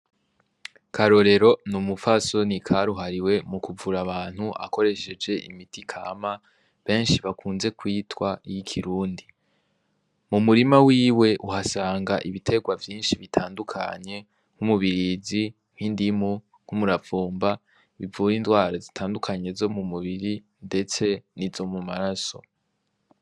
Karorero n'umupfasoni karuhariwe mu kuvura abantu akoresheje imiti kama benshi bakunze kwitwa iy'ikirundi, mu murima wiwe uhasanga ibitegwa vyinshi bitandukanye nk'umubirizi, nk'indimu, nk'umuravumba, bivura indwara zitandukanye zo mu mubiri ndetse n'izo mu maraso.